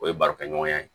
O ye barokɛɲɔgɔnya ye